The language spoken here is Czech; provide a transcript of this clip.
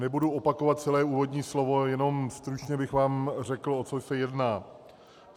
Nebudu opakovat celé úvodní slovo, jenom stručně bych vám řekl, o co se jedná.